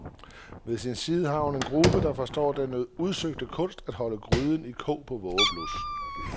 Ved sin side har hun en gruppe, der forstår den udsøgte kunst at holde gryden i kog på vågeblus.